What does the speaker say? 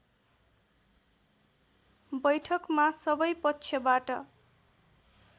बैठकमा सबै पक्षबाट